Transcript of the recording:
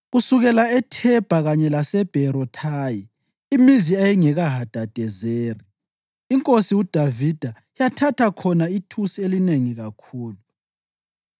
Kusukela eThebha kanye laseBherothayi, imizi eyayingekaHadadezeri, inkosi uDavida yathatha khona ithusi elinengi kakhulu.